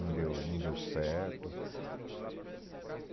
Não deu, não deu certo.